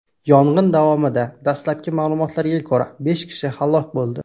Yong‘in davomida, dastlabki ma’lumotlarga ko‘ra, besh kishi halok bo‘ldi.